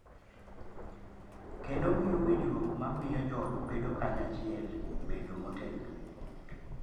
Kendo omiyo winjruok ma miyo joot bedo kanyachiel bedo motegno.